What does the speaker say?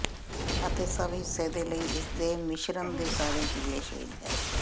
ਅਤੇ ਸਭ ਹਿੱਸੇ ਦੇ ਲਈ ਇਸ ਦੇ ਮਿਸ਼ਰਣ ਦੇ ਸਾਰੇ ਪੀਲੇ ਸ਼ੇਡ ਹੈ